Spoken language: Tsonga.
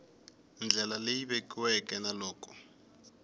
ndlela leyi vekiweke na loko